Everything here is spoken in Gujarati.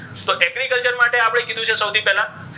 તો agriculture માટે આપણે કીધુ છે સૌથી પહેલા,